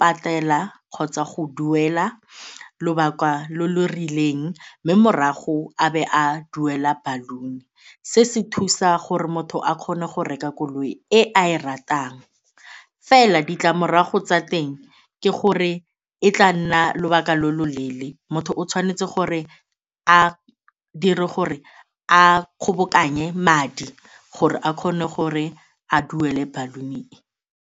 patela kgotsa go duela lobaka lo lo rileng mme morago a be a duela baloon-e. Se se thusa gore motho a kgone go reka koloi e a e ratang, fela ditlamorago tsa teng ke gore e tla nna lobaka lo lo leele motho o tshwanetse gore a dire gore a kgobokanye madi gore a kgone gore a duele baloon-e e.